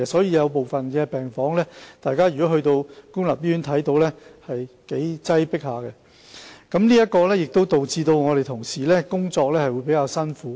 因此，如大家前往部分公立醫院的病房，便會發現是頗為擠迫的，這也令同事在工作時比較辛苦。